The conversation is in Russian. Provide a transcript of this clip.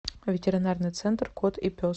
ветеринарный центр кот и пес